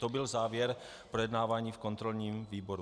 To byl závěr projednávání v kontrolním výboru.